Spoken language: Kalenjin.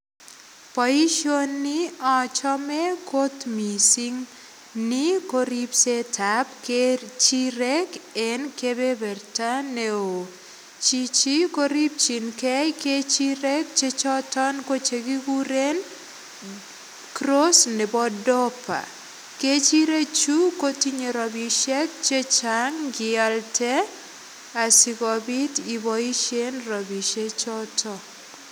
Boisioni achome kot missing ni ko ripset ab kechirek en kebeberta neoo chichi kosipchingee kechirek chechoton ko chekikuren cross nebo doper kechirek chu kotinye rapisiek chechang ngiialde asikobit iboisien rapisiek choton